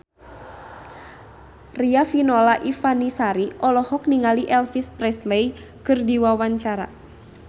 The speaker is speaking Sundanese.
Riafinola Ifani Sari olohok ningali Elvis Presley keur diwawancara